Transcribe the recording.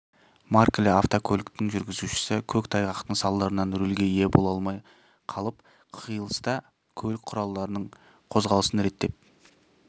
маркілі автокөліктің жүргізушісі көк тайғақтың салдарынан рөлге ие бола алмай қалып қиылыста көлік құралдарының қозғалысын реттеп